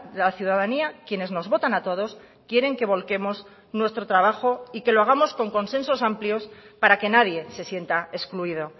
la ciudadanía quienes nos votan a todos quieren que volquemos nuestro trabajo y que lo hagamos con consensos amplios para que nadie se sienta excluido